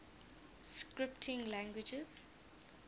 scripting languages